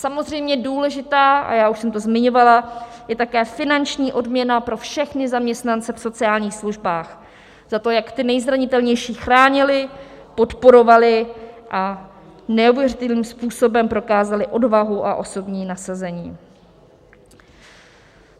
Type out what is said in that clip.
Samozřejmě důležitá, a já už jsem to zmiňovala, je také finanční odměna pro všechny zaměstnance v sociálních službách za to, jak ty nejzranitelnější chránili, podporovali a neuvěřitelným způsobem prokázali odvahu a osobní nasazení.